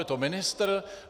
Je to ministr?